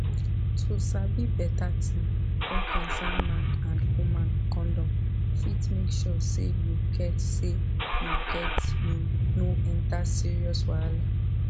to sabi beta tin wey concern man and woman condom fit make sure say you get say you get you no enter serious wahala